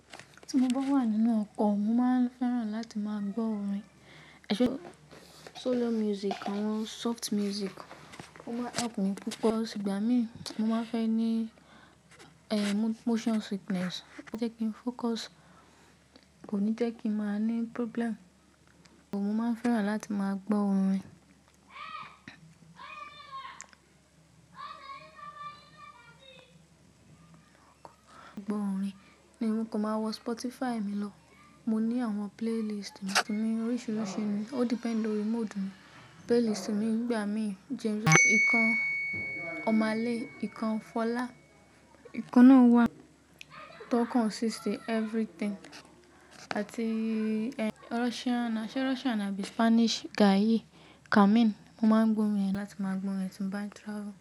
Tí mo bá wà nínú ọkọ̀, mo máa ń fẹ́ràn láti máa gbọ́ orin. Solo music, àwọn soft music. Ó máa ń help mi púpọ̀. Ìgbá mi, mo máa ń fẹ́ ní, ehn, motion sickness. Ó jẹ́ kí n fócus, kò ní jẹ́ kí ń máa ní problem. Mo máa ń fẹ́ràn láti máa gbọ́ orin gbọ́ orin ni mo kan máa wo Spotify mi lọ. Mo ní àwọn playlist mi, tori mo oríṣiríṣi ni. O depend lórí mood mi. Playlist mi ń gba mi jẹ bi ìkan ọmọ aleh, ìkan fọlá. Ìkanni náà wà tó consist everything. Àti Russian, se Russian ni àbí Spanish ga yi kamin. Mo máa ń gbo orin láti máa gbo orin tí mo bá ń travel.